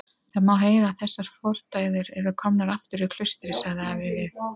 Það má heyra að þessar fordæður eru komnar aftur í klaustrið, sagði afi við